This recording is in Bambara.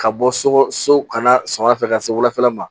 Ka bɔ so so ka na sɔgɔmada fɛ ka se wulafɛla ma